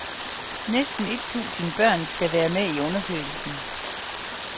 Næsten et tusind børn skal være med i undersøgelsen.